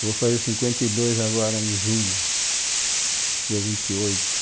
vou fazer cinquenta e dois agora em junho, dia vinte e oito